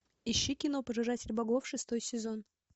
ищи кино пожиратель богов шестой сезон